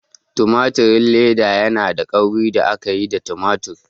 Tumatir leda yanada kauri da aka yi daga tumatir.